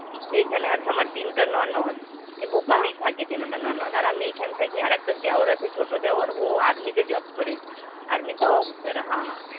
এইখানে আছে আমার তিনটে ননদ, এই ভোপালেই থাকে তিনটে ননদ. আর আমি এইখানে থাকি. আর একটা দেওর আছে ছোটো দেওর ও army তে job করে. army তে officer. হ্যাঁ.